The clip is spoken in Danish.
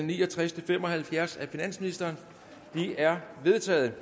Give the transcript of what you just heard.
ni og tres til fem og halvfjerds af finansministeren de er vedtaget